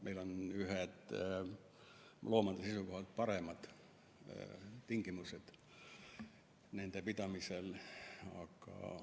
Meil on ühed loomade seisukohalt paremad tingimused nende pidamiseks.